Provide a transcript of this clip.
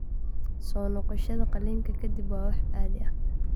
Soo noqoshada qalliinka ka dib waa wax caadi ah.